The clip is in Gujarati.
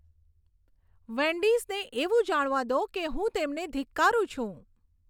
વેન્ડીસને એવું જાણવા દો કે હું તેમને ધિક્કારું છું